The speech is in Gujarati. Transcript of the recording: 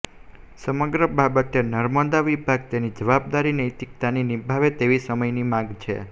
સમગ્ર બાબતે નર્મદા વિભાગ તેની જવાબદારી નૈતિકતાથી નિભાવે તેવી સમયની માંગ છે